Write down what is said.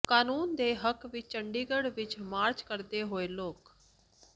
ਕਾਨੂੰਨ ਦੇ ਹੱਕ ਵਿੱਚ ਚੰਡੀਗੜ੍ਹ ਵਿੱਚ ਮਾਰਚ ਕਰਦੇ ਹੋਏ ਲੋਕ